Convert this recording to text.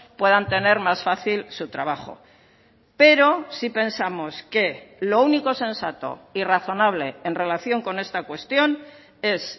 puedan tener más fácil su trabajo pero sí pensamos que lo único sensato y razonable en relación con esta cuestión es